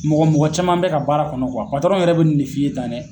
Mɔgɔ mɔgɔ caman bɛ ka baara kɔnɔ yɛrɛ bɛ nin de f'i ye tan dɛ.